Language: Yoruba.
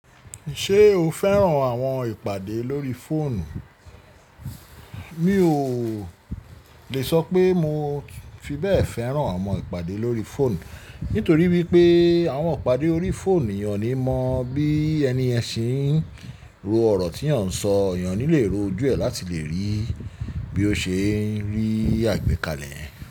Ṣé o fẹ́ràn àwọn ìpàdé lórí fóònù? Mi ò dé sópò mó fì béè féràn àwon ìpàdé lórí fóònù nítorí wípé àwọn ìpàdé órí fóònù eyàn ní mọ bí ẹni ẹṣin ń ro ọ̀rọ̀ tí yàn ń sọ, eyàn ní lè ro ojú ẹ̀ láti lè rí bí ó ṣe ń rí àgbékalẹ̀.